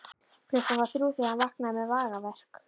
Klukkan var þrjú þegar hann vaknaði með magaverk.